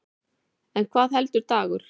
En hvað heldur Dagur?